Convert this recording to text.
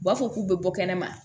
U b'a fɔ k'u bɛ bɔ kɛnɛma